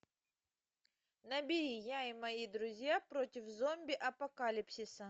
набери я и мои друзья против зомби апокалипсиса